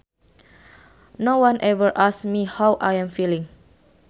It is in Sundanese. No one ever asks me how I am feeling